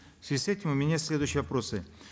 в связи с этим у меня следующие вопросы